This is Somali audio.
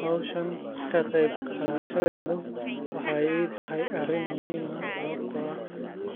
Howshan ka qeyb qadhashadedo wexey itahy arin muhim aah sababto aah